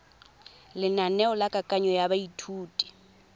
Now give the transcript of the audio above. lenaneo la kananyo ya baithuti